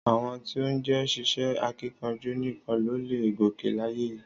Àwọn tí ó jé ṣíṣe akíkanjú nìkan ló leè gòkè láyé yìí